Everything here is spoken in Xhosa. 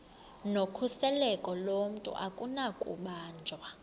nokhuseleko lomntu akunakubanjwa